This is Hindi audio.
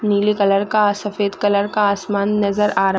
नीले कलर का सफ़ेद कलर का आसमान नज़र आ रा--